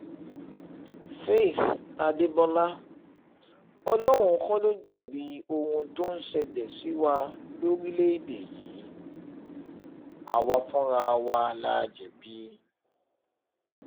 faith adébọlá ọlọ́run kọ́ ló jẹ̀bi ohun tó ń ṣẹlẹ̀ sí wa lórílẹ̀‐èdè yìí àwa fúnra wa la jẹ̀bi